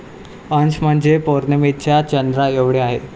अंश म्हणजे पौर्णिमेच्या चंद्राएवढे आहे.